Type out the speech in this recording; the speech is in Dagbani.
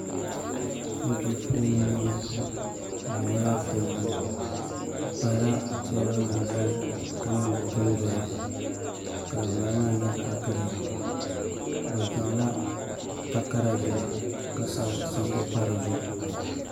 Duu puuni n boŋo di nyɛla zaɣ piɛlli bi teebuli nim zali ka niŋ di dundoya dinbala maa nyɛla zaɣ giriin bi zaŋla takara yili ka sabi sabbu pa di zuɣu